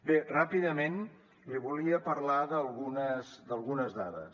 bé ràpidament li volia parlar d’algunes dades